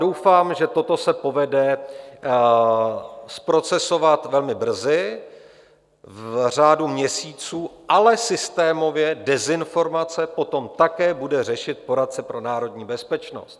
Doufám, že toto se povede zprocesovat velmi brzy, v řádu měsíců, ale systémově dezinformace potom také bude řešit poradce pro národní bezpečnost.